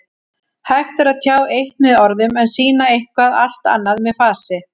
Hægt er að tjá eitt með orðum en sýna eitthvað allt annað með fasi.